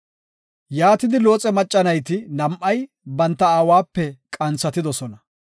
Yaatidi Looxe macca nayti nam7ay banta aawape qanthatidosona.